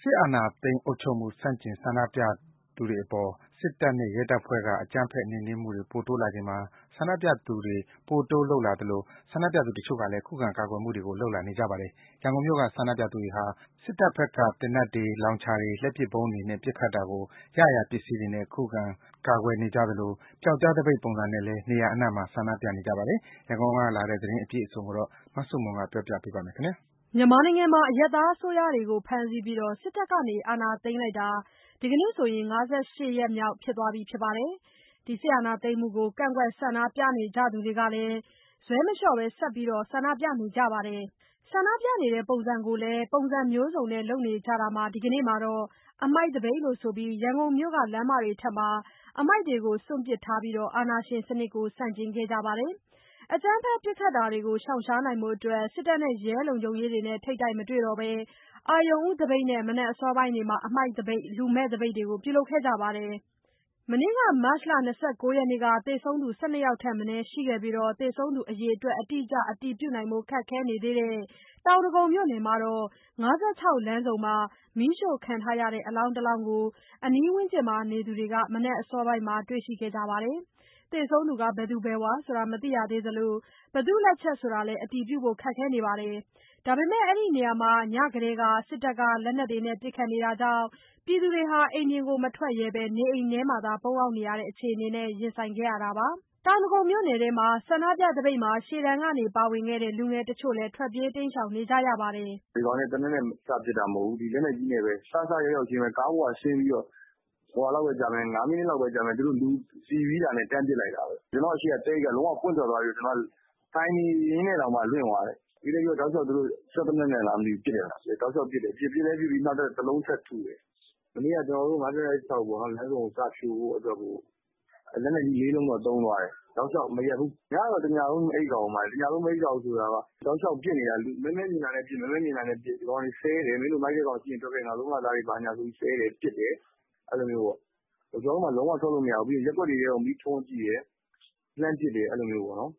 စစ်အာဏာသိမ်း အုပ်ချုပ်မှု ဆန့်ကျင်ဆန္ဒပြပွဲတွေအပေါ် စစ်တပ်နဲ့ ရဲတပ်ဖွဲ့တွေက အကြမ်းဖက် နှိမ်နင်းဖိနှိပ်မှုတွေ ဆန္ဒပြမှုတွေ ပိုတိုးလုပ်လာချိန်မှာ ဆန္ဒပြသူတချို့ကလည်း ခုခံကာကွယ်မှုတွေ လုပ်လာပါတယ်။ ရန်ကုန်မြို့က ဆန္ဒပြသူတွေဟာ စစ်တပ်ဘက်က သေနတ်တွေ၊ လောင်ချာတွေ၊ လက်ပစ်ဗုံးတွေနဲ့ ပစ်ခတ်တာကို ရရာ ပစ္စည်းတွေ ကိုင်စွဲခုခံနေကြသလို၊ ပြောက်ကျားသပိတ်ပုံစံနဲ့လည်း နေရာအနှံ့မှာ ဆန္ဒပြနေကြပါတယ်။ ရန်ကုန်ကလာတဲ့ သတင်းအပြည့်အစုံကိုတော့ မဆုမွန်က ဆက်ပြောပြပါမယ်။ အရပ်သားအစိုးရ ခေါင်းဆောင်တွေကို ဖမ်းဆီးပြီး စစ်တပ်ကအာဏာသိမ်းထားတာ ဒီနေ့ ၅၈ ရက်ရှိနေပြီဖြစ်သလို ဒီအပေါ် ကန့်ကွက်ဆန္ဒပြနေသူတွေကလည်း ဇွဲမလေ ျှာ့ ဆက်ပြနေကြပါတယ်။ ဆန္ဒပြတဲ့ ပုံစံကိုလည်း အမျိုးစုံလုပ်နေကြတာမှာ ဒီကနေ့မှာတော့ အမှိုက်သပိတ်လို့ဆိုပြီး ရန်ကုန်မြို့ လမ်းမတွေပေါ်မှာ အမှိုက်တွေကို စွန့်ပစ်ထားကြပြီး အာဏာရှင်စနစ်ကို ဆန့်ကျင်ခဲ့ကြပါတယ်။ အကြမ်းဖက်ပစ်ခတ်တာတွေကို ရှောင်နိုင်ဖို့ စစ်တပ်နဲ့ရဲတွေကို ထိပ်တိုက်မတွေ့တော့ဘဲ အရုဏ်ဦးသပိတ်နဲ့အတူ မနက်အစောပိုင်းကတည်းက အမှိုက်သပိတ်၊ လူမဲ့သပိတ်တို့ကို ပြုလုပ်ခဲ့ပါတယ်။ မနေ့ မတ်လ ၂၉ ရက်နေ့က သေဆုံးသူ ၁၂ ယောက် ထက်မနည်းရှိနေပြီး သေဆုံးသူအရေအတွက် အတိအကျ အတည်ပြုဖို့ ခက်ခဲနေသေးတဲ့ တောင်ဒဂုံမြို့နယ်မှာတော့ ၅၆ လမ်းဆုံမှာ မီးရှို့ခံထားရတဲ့ အလောင်းတလောင်းကို အနီးဝန်းကျင်မှာနေသူတွေ ဒီနေ့မနက်အစောပိုင်းက တွေ့ခဲ့ကြပါတယ်။ သေဆုံးသူ ဘယ်သူဆိုတာ မသိရသေးသလို၊ ဘယ်သူ့လက်ချက်ဆိုတာကို အတည်ပြုဖို့ခက်နေပေမဲ့ အဲဒီနေရာမှာ ညကတည်းက တပ်က လက်နက်တွေနဲ့ ပစ်ခတ်နေတာကြောင့် ပြည်သူတွေ အိမ်ပြင် မထွက်ရဲဘဲ နေအိမ်ထဲကနေသာ ပုန်းနေရတဲ့အခြေအနေနဲ့ ရင်ဆိုင်ခဲ့ရတာပါ။ တောင်ဒဂုံမြို့နယ်ထဲက ဆန္ဒပြသပိတ်မှာ ရှေ့တန်းကနေပါဝင်ခဲ့တဲ့ လူငယ်တချို့လည်း ထွက်ပြေးတိမ်းရှောင်နေကြရပါတယ်။ "ဒီကောင်တွေက သေနတ်နဲ့ စပစ်တာ မဟုတ်ဘူး။ စရောက်ရောက်ခြင်း ကားပေါ်က ဆင်းပြီးတော့ ၅ မိနစ်လောက်ပဲကြာမယ်။ သူတို့လူစီပြီးတာနဲ့ လက်နက်ကြီးနဲ့ တန်းပစ်လိုက်တာပဲ။ ကျနော့်အရှေ့က သဲအိတ်က လုံးဝပွင့်ထွက်သွားပြီးတော့ ထိုင်နေရင်းနဲ့တောင်မှ လွင့်သွားတယ်။ ပြီးလည်းပြီးတော့ တောက်လျှောက် စစ်သေနတ်နဲ့လားမသိဘူး။ ပစ်တယ်။ ပစ်လည်းပစ်ပြီး နောက်ထပ်တလုံး ထပ်ထုတယ်။ မနေ့က ၅၆ လမ်းဆုံကို စဖြိုဖို့အတွက်ကို လက်နက်ကြီး ၄ လုံးတော့ သုံးသွားတယ်။ တောက်လျှောက်မရပ်ဘူး။ ညကတညလုံး မအိပ်ရဘူးဆိုတာက မဲမဲမြင်တာနဲ့ တောက်လျှောက်ပစ်နေတာ။ မင်းတို့မိုက်တဲ့ကောင်ရှိရင် ထွက်ခဲ့ဆိုပြီး ဒီကောင်တွေ ဆဲတယ်၊ ပစ်တယ်။ ကျနော်တို့မှာ လုံးဝထွက်လို့မရဘူး။ ပြီးတော့ ရပ်ကွက်တွေထဲကို မီးထွန်းကြည့်တယ်၊ လှမ်းပစ်တယ်။ အဲဒီလိုမျိုးပေါ့နော်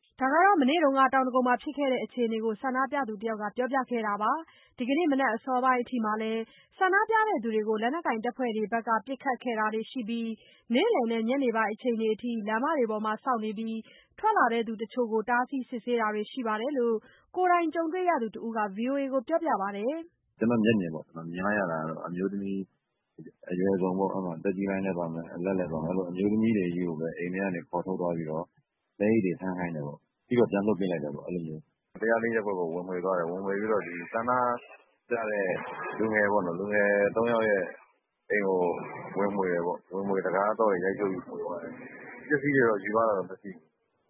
။" မနေ့က တောင်ဒဂုံမှာ ဖြစ်ခဲ့တဲ့ အခြေအနေကို ဆန္ဒပြသူတယောက်က ပြောပြတာပါ။ ဒီကနေ့ မနက်ပိုင်းအစောပိုင်းအထိလည်း ဆန္ဒပြသူတွေကို လက်နက်ကိုင်တပ်ဖွဲ့တွေဘက်က ပစ်ခတ်တာရှိခဲ့ပြီး နေ့လယ်နဲ့ ညနေပိုင်းအချိန်တွေအထိ လမ်းတွေပေါ်မှာ စောင့်နေပြီး ထွက်လာသူတချို့ကို တားဆီးစစ်ဆေးတာတွေရှိတယ်လို့ ကိုယ်တိုင်ကြုံခဲ့ရသူတဦးက ဗွီအိုအေကိုပြောပါတယ်။ "ကျနော်မြင်လိုက်ရတာတော့ အမျိုးသမီးတွေကို အိမ်ထဲကနေခေါ်ထုတ်သွားပြီးတော့ သဲအိတ်တွေ ထမ်းခိုင်းတယ်။ ပြီးတော့ ပြန်လွှတ်ပေးလိုက်တယ်။ ညနေ ၅ နာရီဝန်းကျင်လောက်က ၁၀၄ ရပ်ကွက်ကို ဝင်မွှေပြီးတော့ ဆန္ဒပြတဲ့လူငယ် ၃ ယောက်ရဲ့အိမ်ကို တံခါးသော့တွေ ရိုက်ဖြုတ်ပြီး မွှေသွားတယ်။ ပစ္စည်းတွေ ယူသွားတာတော့ မရှိ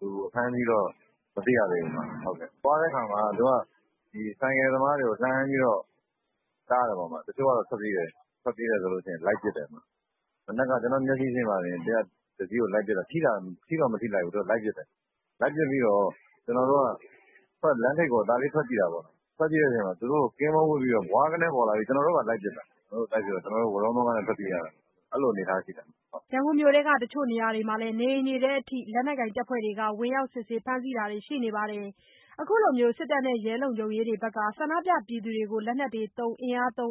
ဘူး။ အဖမ်းအဆီးတော့ မသိရသေးဘူး။ လမ်းသွားတဲ့အခါမှာ ဆိုင်ကယ်သမားတွေကို လှမ်းတားတယ်။ တချို့ကထွက်ပြေးရင် လိုက်ပစ်တယ်။ မနက်က ကျနော့်မျက်စိရှေ့မှာတင် တစီးကိုလိုက်ပစ်တာ ထိတော့မထိလိုက်ဘူး။ ကျနော်တို့က လမ်းထိပ်ကို ထွက်ကြည့်တဲ့အချိန်မှာ သူတို့ကင်းပုန်းဝပ် ဘွားခနဲပေါ်လာပြီးတော့ ကျနော်တို့ကိုပါ လိုက်ပစ်တာ။ လိုက်ပစ်တော့ ကျနော်တို့ ဝရုန်းသုန်းကားနဲ့ ထွက်ပြေးရတယ်။" ရန်ကုန်မြို့ထဲက တချို့နေရာတွေမှာလည်း အိမ်တွေထဲအထိ လက်နက်ကိုင်တပ်ဖွဲ့တွေ ဝင်ရောက် စစ်ဆေးဖမ်းဆီးတာတွေ ရှိခဲ့ပါတယ်။ ခုလို စစ်တပ်နဲ့ ရဲတွေက ဆန္ဒပြသူတွေအပေါ် လက်နက်တွေသုံး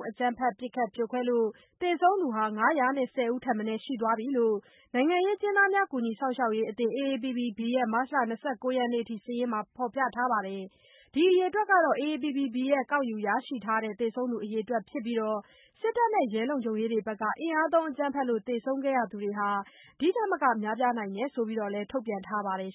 အကြမ်းဖက်ပစ်ခတ်လို့ သေဆုံးသူ ၅၁၀ ထက်မနည်းရှိသွားပြီလို့ နိုင်ငံရေးအကျဉ်းသားများ ကူညီစောင့်ရှောက်ရေးအသင်း AAPPB ရဲ့ မတ်လ ၂၉ ရက်အထိ စာရင်းမှာ ဖော်ပြထားပါတယ်။ ဒီအရေအတွက်ဟာ AAPPB က ကောက်ယူရရှိထားတဲ့ သေဆုံးသူအရေအတွက် ဖြစ်ပြီး၊ စစ်တပ်နဲ့ ရဲတွေဘက်က အင်အားသုံးအကြမ်းဖက်လို့ သေဆုံးခဲ့ရသူတွေဟာ ဒီထက်မက ရှိနိုင်တယ်လို့လည်း ထုတ်ပြန်ထားပါတယ်